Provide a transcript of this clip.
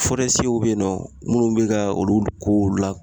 bɛ yen nɔ minnu bɛ ka olu kow la